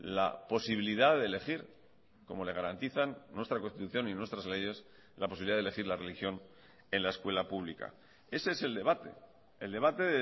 la posibilidad de elegir como le garantizan nuestra constitución y nuestras leyes la posibilidad de elegir la religión en la escuela pública ese es el debate el debate